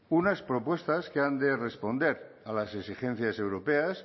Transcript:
unas propuestas que han de responder a las exigencias europeas